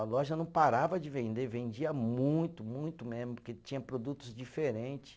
A loja não parava de vender, vendia muito, muito mesmo, porque tinha produtos diferente.